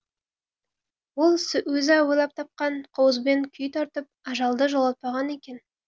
ол өзі ойлап тапқан қобызбен күй тартып ажалды жолатпаған екен